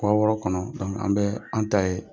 wɔɔrɔ kɔnɔ an bɛ an ta ye.